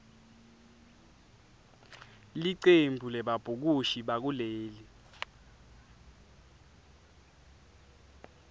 licembu lebabhukushi bakuleli